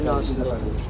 oturmuşdu.